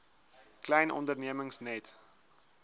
klein ondernemings net